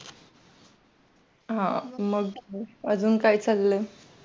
हा मंग अजून काय चाललंय?